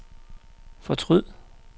fortryd